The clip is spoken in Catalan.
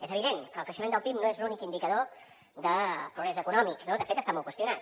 és evident que el creixement del pib no és l’únic indicador de progrés econòmic no de fet està molt qüestionat